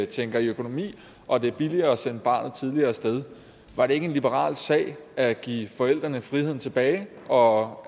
tænker i økonomi og det er billigere at sende barnet tidligere af sted var det ikke en liberal sag at give forældrene friheden tilbage og